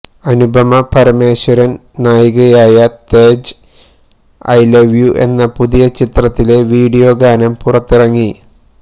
അനുപമ പരമേശ്വരൻ നായികയായ Tej I love you എന്ന പുതിയ ചിത്രത്തിലെ വിഡിയോ ഗാനം പുറത്തിറങ്ങി